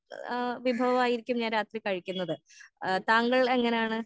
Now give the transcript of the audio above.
ഏഹ് വിഭവായിരിക്കും ഞാൻ രാത്രി കഴിക്കുന്നത്. താങ്കൾ എങ്ങനെയാണ്?